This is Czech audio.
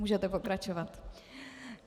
Můžete pokračovat.